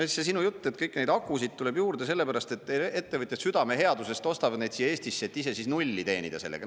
Ja see sinu jutt, et kõiki neid akusid tuleb juurde, sellepärast et ettevõtjad südameheadusest ostavad neid siia Eestisse, et ise siis nulli teenida sellega.